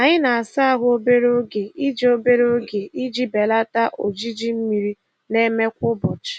Anyị na-asa ahụ obere oge iji obere oge iji belata ojiji mmiri na-eme kwa ụbọchị.